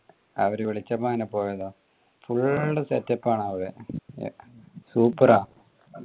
അവര് വിളിച്ചപ്പോ അങ്ങനെ പോയതാ full setup ആണ് അവിടെ super ആ